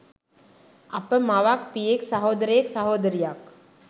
අප මවක්, පියෙක්, සහෝදරයෙක්, සහෝදරියක්,